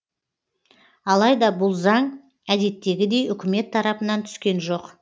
алайда бұл заң әдеттегідей үкімет тарапынан түскен жоқ